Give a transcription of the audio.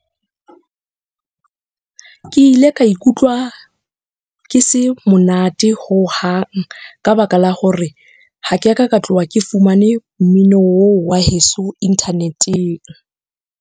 Ke ile ka ikutlwa, ke se monate hohang ka baka la hore ha ke a ka ka tloha ke fumane mmino oo wa heso inthaneteng.